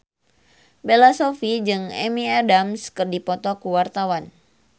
Bella Shofie jeung Amy Adams keur dipoto ku wartawan